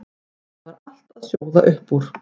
Það var allt að sjóða upp úr.